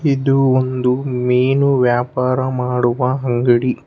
ಇದು ಒಂದು ಮೀನು ವ್ಯಾಪಾರ ಮಾಡುವ ಅಂಗಡಿ.